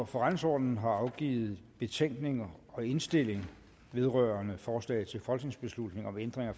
forretningsordenen har afgivet betænkning og indstilling vedrørende forslag til folketingsbeslutning om ændring af